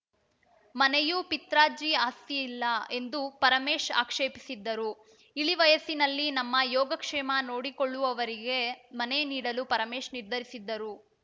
ಮನೆಯೂ ಪಿತ್ರಾರ್ಜಿ ಆಸ್ತಿಯಲ್ಲ ಎಂದು ಪರಮೇಶ್‌ ಆಕ್ಷೇಪಿಸಿದ್ದರು ಇಳಿ ವಯಸ್ಸಿನಲ್ಲಿ ನಮ್ಮ ಯೋಗಕ್ಷೇಮ ನೋಡಿಕೊಳ್ಳುವವರಿಗೆ ಮನೆ ನೀಡಲು ಪರಮೇಶ್‌ ನಿರ್ಧರಿಸಿದ್ದರು